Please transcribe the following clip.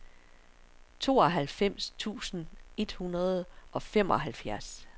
tooghalvfems tusind et hundrede og femoghalvfjerds